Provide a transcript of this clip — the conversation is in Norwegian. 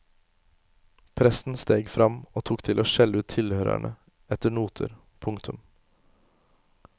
Presten steg fram og tok til å skjelle ut tilhørerne etter noter. punktum